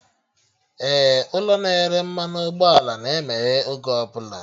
Ee, ụlọ na-ere mmanụ ụgbọ ala na-emeghe oge ọbụla